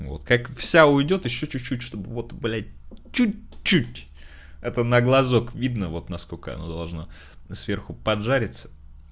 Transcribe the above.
вот как вся уйдёт ещё чуть чуть чтобы вот блядь чуть чуть это на глазок видно вот насколько она должна сверху под жарится